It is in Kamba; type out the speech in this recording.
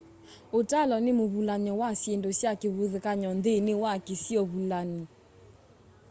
utalo ni muvulany'o wa syindu sya kivathukany'o nthini wa kisio vulani